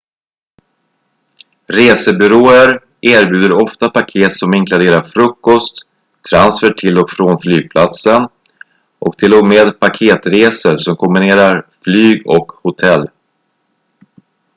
resebyråer erbjuder ofta paket som inkluderar frukost transfer till och från flygplatsen och till och med paketresor som kombinerar flyg och hotell